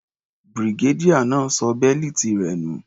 Brigadier náà ṣọ bẹ́lìtì rẹ̀ nù.